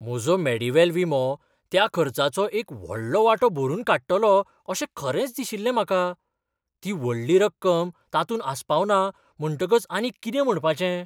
म्हजो मेडीवेल विमो त्या खर्चाचो एक व्हडलो वांटो भरून काडटलो अशें खरेंच दिशिल्लें म्हाका. ती व्हडली रक्कम तातूंत आसपावना म्हणटकच आनी कितें म्हणपाचें?